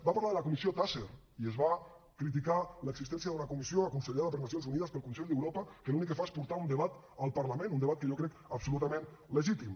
va parlar de la comissió taser i es va criticar l’existència d’una comissió aconsellada per nacions unides pel consell d’europa que l’únic que fa és portar un debat al parlament un debat que jo crec absolutament legítim